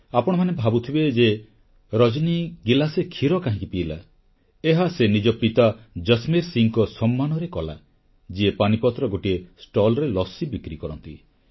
ଆପଣମାନେ ଭାବୁଥିବେ ଯେ ରଜନୀ ଗିଲାସେ କ୍ଷୀର କାହିଁକି ପିଇଲା ଏହା ସେ ନିଜ ପିତା ଜସମେର୍ ସିଂହଙ୍କ ସମ୍ମାନରେ କଲା ଯିଏ ପାନିପତର ଗୋଟିଏ ଷ୍ଟଲରେ ଲସୀ ବିକ୍ରି କରନ୍ତି